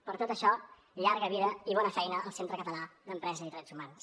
per tot això llarga vida i bona feina el centre català d’empresa i drets humans